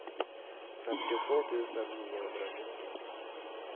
femtiotvå tusen niohundranittio